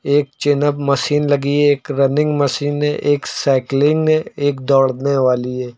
एक chin up machine लगी है। एक रनिंग मशीन है। एक साइकलिंग है। एक दौड़ने वाली है।